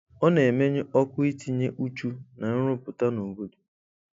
Ọ na-emenyụ ọkụ itinye uchu na nrụpụta n'obodo.